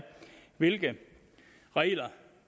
hvilke regler